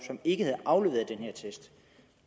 som ikke havde afleveret den her attest